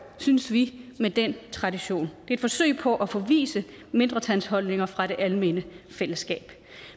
synes vi med den tradition det et forsøg på at forvise mindretalsholdninger fra det almene fællesskab